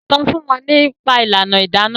sọ fún wọn nípa ìlànà Idana.